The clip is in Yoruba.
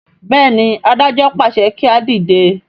béèni adájọ pàṣẹ kí a dìde.